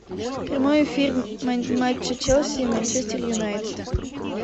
прямой эфир матча челси и манчестер юнайтед